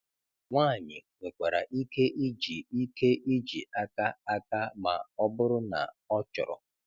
Nwanyị nwekwara ike iji ike iji aka aka ma ọ bụrụ na ọ chọrọ